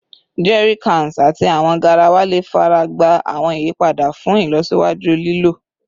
Jerrycans ati awọn garawa le faragba awọn iyipada fun ilọsiwaju lilo